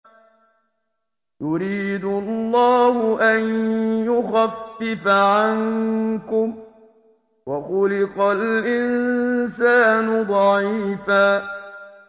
يُرِيدُ اللَّهُ أَن يُخَفِّفَ عَنكُمْ ۚ وَخُلِقَ الْإِنسَانُ ضَعِيفًا